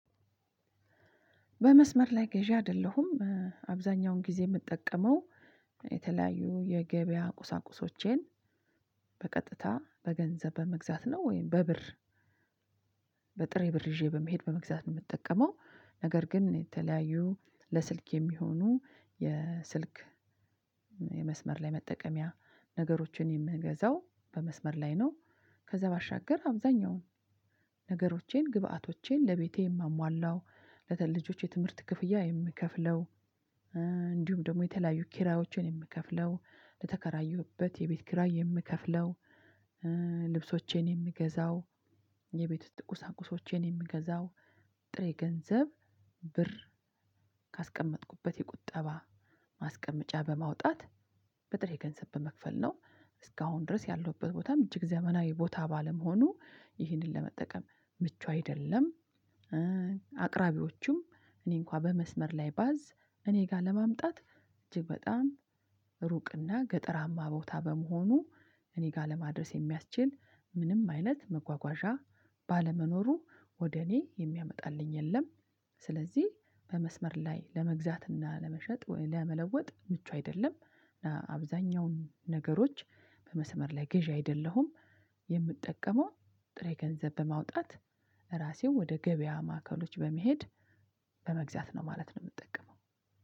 በመስመር ላይ ገዢ አይደለሁም። አብዛኛውን ጊዜ የምጠቀመው የተለያዩ የገበያ ቁሳቁሶቼን በቀጥታ በገንዘብ በመግዛት ነው ወይም በብር። በጥሬ ብር ይዤ በመሄድ በመግዛት ነው የምጠቀመው ነገር ግን የተለያዩ ለስልክ የሚሆኑ የስልክ የመስመር ላይ መጠቀሚያ ነገሮችን የምገዛው በመስመር ላይ ነው። ከዛ ባሻገር አብዛኛውን ነገሮቼን ግብአቶቼን ለቤቴ የማሟላው ለልጆቼ የትምህርት ክፍያ የምከፍለው። እንዲሁም ደግሞ የተለያዩ ኪራይዎችን የምከፍለው ለተከራዩበት የቤት ኪራይ የምከፍለው። ልብሶቼን የምገዛው የቤት ውስጥ ቁሳቁሶቼን የምገዛው ጥሬ ገንዘብ ብር ካስቀመጥኩበት የቁጠባ ማስቀመጫ በማውጣት በጥሬ ገንዘብ በመክፈል ነው። እስካሁን ድረስ ያለሁበት ቦታም እጅግ ዘመናዊ ቦታ ባለመሆኑ ይህንን ለመጠቀም ምቹ አይደለም። አቅራቢዎቹም እኔ እንኳን በመስመር ላይ ባዝ እኔ ጋር ለማምጣት እጅግ በጣም ሩቅና ገጠራማ ቦታ በመሆኑ እኔ ጋር ለማድረስ የሚያስችል ምንም አይነት መጓጓዣ ባለመኖሩ ወደ እኔ የሚያመጣልኝ የለም። ስለዚህ በመስመር ላይ ለመግዛትና ለመሸጥ ወይ ለመለወጥ ምቹ አይደለም። እና አብዛኛውን ነገሮች በመስመር ላይ ገዢ አይደለሁም። የምጠቀመው ጥሬ ገንዘብ በማውጣት ራሴን ወደ ገበያ ማዕከሎች በመሄድ በመግዛት ነው ማለት ነው። እምጠቀመው